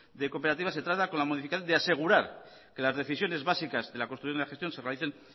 de cooperativas se trata con la de asegurar que las decisiones básicas de la de la gestión se realicen